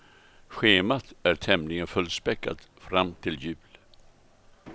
Schemat är tämligen fullspäckat fram till jul.